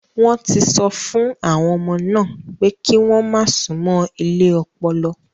Wọ́n ti sọ fún àwọn ọmọ náà pé kí wọ́n má súnmọ́ ilé ọpọlọ.